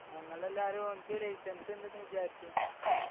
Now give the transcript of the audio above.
ഞങ്ങളെല്ലാവരും അവൻക്ക് licence ഇണ്ട്ന്ന് വിചാരിച്ചു